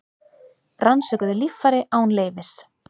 Rannsökuðu líffæri án leyfis